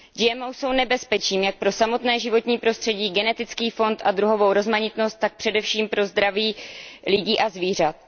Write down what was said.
GMO jsou nebezpečím jak pro samotné životní prostředí, genetický fond a druhovou rozmanitost, tak především pro zdraví lidí a zvířat.